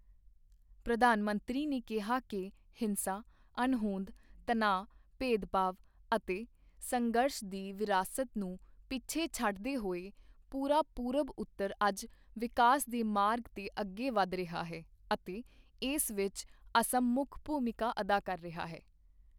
ਪ੍ਰਧਾਨ ਮੰਤਰੀ ਨੇ ਕਿਹਾ ਕਿ ਹਿੰਸਾ, ਅਣਹੋਂਦ, ਤਣਾਅ, ਭੇਦਭਾਵ ਅਤੇ ਸੰਘਰਸ਼ ਦੀ ਵਿਰਾਸਤ ਨੂੰ ਪਿੱਛੇ ਛੱਡਦੇ ਹੋਏ ਪੂਰਾ ਪੂਰਬਉੱਤਰ ਅੱਜ ਵਿਕਾਸ ਦੇ ਮਾਰਗ ਤੇ ਅੱਗੇ ਵਧ ਰਿਹਾ ਹੈ ਅਤੇ ਇਸ ਵਿੱਚ ਅਸਮ ਮੁੱਖ ਭੂਮਿਕਾ ਅਦਾ ਕਰ ਰਿਹਾ ਹੈ।